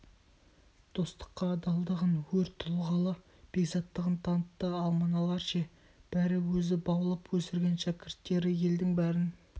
достыққа адалдығын өр тұлғалы бекзаттығын танытты ал мыналар ше бәрі өзі баулып өсірген шәкірттері елдің бәрін